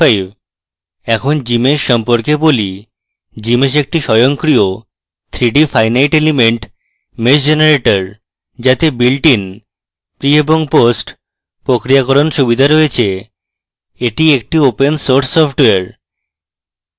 এখন gmsh সম্পর্কে বলি gmsh একটি স্বয়ংক্রিয় 3d finite element mesh generator যাতে builtin pre এবং post প্রক্রিয়াকরণ সুবিধা রয়েছে এটি একটি ওপেন সোর্স সফ্টওয়্যার